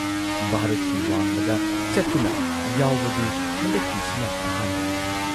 ꯚꯥꯔꯠꯀꯤ ꯋꯥꯡꯃꯗ ꯆꯠꯇꯨꯅ ꯌꯥꯎꯕꯗꯤ ꯍꯟꯗꯛꯀꯤꯁꯤꯅ ꯑꯍꯥꯟꯕꯅꯤ ꯫